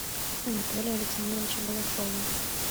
анатолия александровича балашова